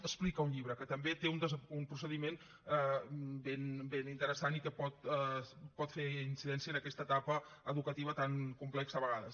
explica un llibre que també té un procediment ben interessant i que pot fer incidència en aquesta etapa educativa tan complexa a vegades